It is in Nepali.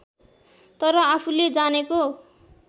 तर आफूले जानेको